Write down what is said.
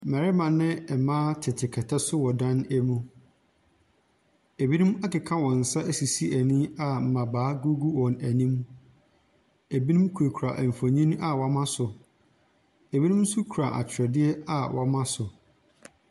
Mmarima ne mmaa tete kɛtɛ so wɔ dan mu. Ɛbinom akeka wɔn nsa asisi ani a mmabaa gugu wɔn anim. Ɛbinom kurakura mfonin a wɔama so. Ɛbinom nso kura atweredeɛ a wɔama so.